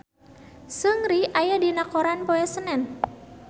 Seungri aya dina koran poe Senen